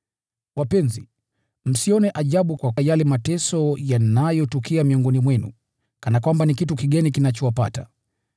Wapenzi, msione ajabu kwa yale mateso yanayotukia miongoni mwenu, kana kwamba ni kitu kigeni kinachowapata.